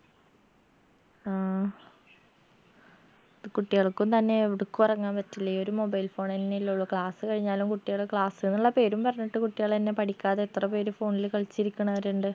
ആ കുട്ടികൾക്കും തന്നെ എവടക്കും തന്നെ എറങ്ങാൻ പറ്റില്ല ഈ ഒരു mobile phone ന്നെല്ലേ ഉള്ളൂ class കഴിഞ്ഞാലും കുട്ടികള് class ന്നുള്ള പേരും പറഞ്ഞിട്ട് കുട്ടികളെന്നെ പഠിക്കാതെ എത്ര പേര് phone ല് കളിച്ചിരിക്കണവരിണ്ട്